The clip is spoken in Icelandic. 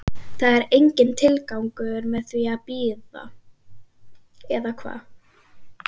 Það er enginn tilgangur með því að bíða, eða hvað?